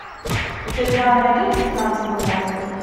у тебя найдется финансовый монстр